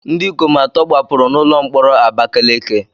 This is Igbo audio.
Ndị ikom atọ gbapụrụ n'ụlọ mkpọrọ Abakaleke